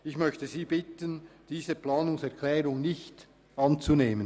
Ich bitte Sie, diese Planungserklärung nicht anzunehmen.